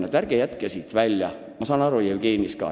Ma saan Jevgenist siiski aru.